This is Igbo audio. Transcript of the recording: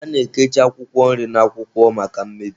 A na-ekichi akwụkwọ nri na akwụkwọ maka mmebi.